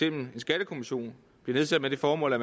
en skattekommission bliver nedsat med det formål at